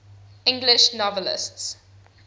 english novelists